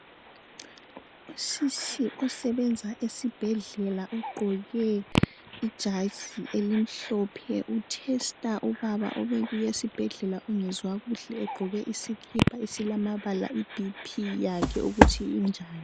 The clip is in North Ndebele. Usisi osebenza esibhedlela ugqoke ijazi elimhlophe u test ubaba obebuye esibhedlela ongezwa kuhle egqoke iskipha esilamabala ukuthi I BP yakhe injani